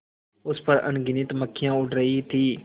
उस पर अनगिनत मक्खियाँ उड़ रही थीं